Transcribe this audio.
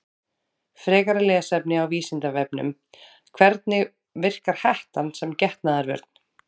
Frekara lesefni á Vísindavefnum: Hvernig verkar hettan sem getnaðarvörn?